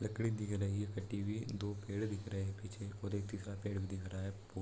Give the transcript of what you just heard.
लकड़ी दिख रही है कटी हुई दो पेड़ दिख रहे हैं पीछे और एक दूसरा पेड़ दिख रहा है पू--